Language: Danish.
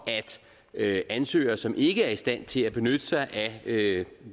at ansøgere som ikke er i stand til at benytte sig af